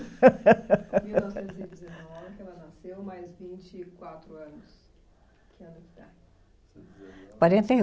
Em mil novecentos e dezenove que ela nasceu, mais vinte e quatro anos, que ano que dá? Quarenta e um